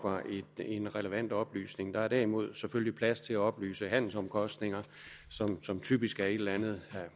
er en relevant oplysning der er derimod selvfølgelig plads til at oplyse handelsomkostninger som typisk er et eller andet